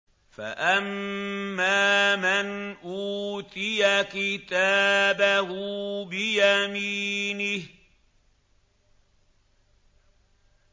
فَأَمَّا مَنْ أُوتِيَ كِتَابَهُ بِيَمِينِهِ